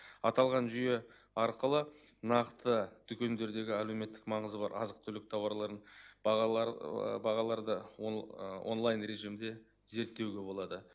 аталған жүйе арқылы нақты дүкендердегі әлеуметтік маңызы бар азық түлік тауарларының бағалар бағаларды онлайн режимде зерттеуге болады